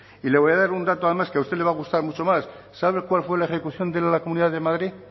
y le voy a dar un dato además que a usted le va a gustar mucho más sabe cuál fue la ejecución de la comunidad de madrid